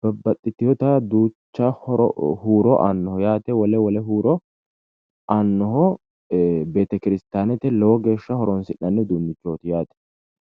babbaxxitewota duucha huuro aanoho yaate wole wole huuro aannoho betekirsitaanete lowo geeshsha horonsi'nann uduunnichooyaati yaate.